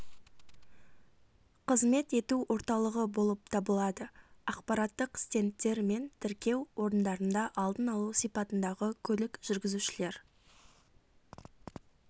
қызмет ету орталығы болып табылады ақпараттық стендтер мен тіркеу орындарында алдын алу сипатындағы көлік жүргізушілер